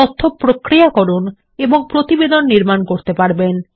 তথ্য প্রক্রিয়াকরণ এবং প্রতিবেদন নির্মান করতে পারেন